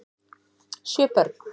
Sjö börn